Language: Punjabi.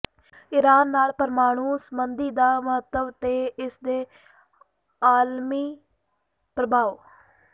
ਇਰਾਨ ਨਾਲ ਪਰਮਾਣੂ ਸੰਧੀ ਦਾ ਮਹੱਤਵ ਤੇ ਇਸ ਦੇ ਆਲਮੀ ਪ੍ਰਭਾਵ